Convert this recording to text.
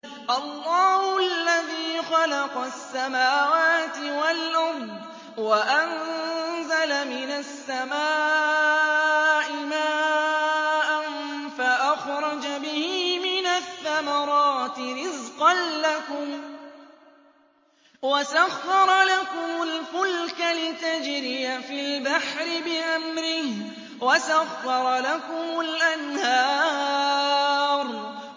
اللَّهُ الَّذِي خَلَقَ السَّمَاوَاتِ وَالْأَرْضَ وَأَنزَلَ مِنَ السَّمَاءِ مَاءً فَأَخْرَجَ بِهِ مِنَ الثَّمَرَاتِ رِزْقًا لَّكُمْ ۖ وَسَخَّرَ لَكُمُ الْفُلْكَ لِتَجْرِيَ فِي الْبَحْرِ بِأَمْرِهِ ۖ وَسَخَّرَ لَكُمُ الْأَنْهَارَ